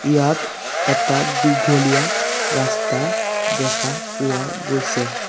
ইয়াত এটা দীঘলীয়া ৰাস্তা দেখা পোৱা গৈছে।